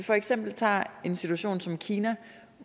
for eksempel tage en situation som i kina